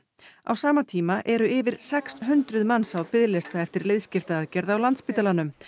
á sama tíma eru yfir sex hundruð manns á biðlista eftir liðskiptaaðgerð á Landspítalanum